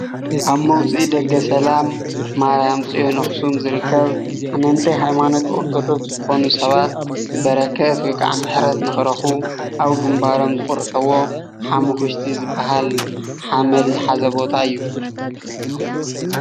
ኣብ መውፅኢ ደገ ሰላም ማርያም ፅዮን ኣክሱም ዝርከብ ኣመንቲ ሃይማኖት ኦርቶዶክስ ዝኾኑ ሰባት በረከት ወይ ካዓ ምሕረት ንኽረኽቡ ኣብ ግንባሮም ዝቑርሕዎ ሓመኩሽቲ ዝብሃል ሓመድ ዝሓዘ ቦታ እዩ፡፡